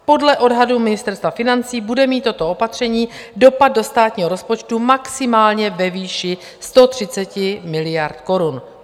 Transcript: Podle odhadu Ministerstva financí bude mít toto opatření dopad do státního rozpočtu maximálně ve výši 130 miliard korun.